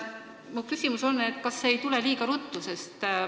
Kas see muudatus ei tule liiga ruttu?